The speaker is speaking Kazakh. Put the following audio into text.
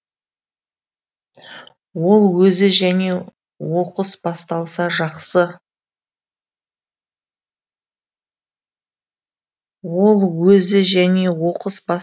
ол өзі және оқыс басталса жақсы